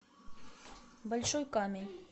большой камень